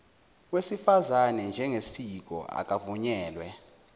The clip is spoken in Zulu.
wesifazane njengesiko akuvunyelwe